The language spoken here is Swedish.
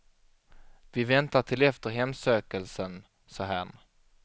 Vi väntar till efter hemsökelsen, sa herrn.